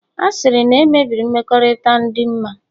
Asịrị na-emebi mmekọrịta dinma